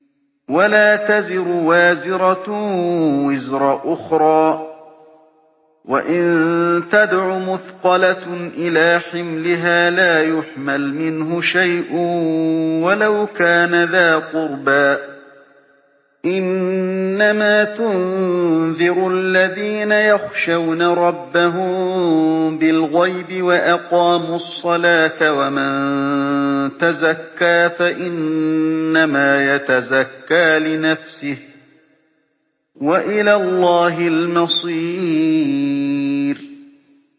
وَلَا تَزِرُ وَازِرَةٌ وِزْرَ أُخْرَىٰ ۚ وَإِن تَدْعُ مُثْقَلَةٌ إِلَىٰ حِمْلِهَا لَا يُحْمَلْ مِنْهُ شَيْءٌ وَلَوْ كَانَ ذَا قُرْبَىٰ ۗ إِنَّمَا تُنذِرُ الَّذِينَ يَخْشَوْنَ رَبَّهُم بِالْغَيْبِ وَأَقَامُوا الصَّلَاةَ ۚ وَمَن تَزَكَّىٰ فَإِنَّمَا يَتَزَكَّىٰ لِنَفْسِهِ ۚ وَإِلَى اللَّهِ الْمَصِيرُ